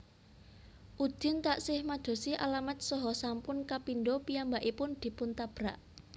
Udin taksih madosi alamat saha sampun kapindha piyambakipun dipun tabrak